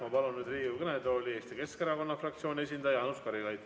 Ma palun Riigikogu kõnetooli Eesti Keskerakonna fraktsiooni esindaja Jaanus Karilaidi.